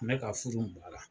Mɛ ka furu i baara.